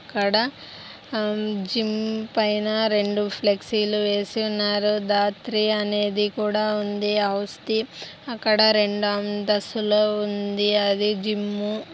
ఇక్కడ జిమ్ పైన రెండు ఫ్లెక్సీ లు వేసి ఉన్నారు దాత్రి అనేది కూడా ఉంది అక్కడ రెండు అంతస్తులు ఉంది-----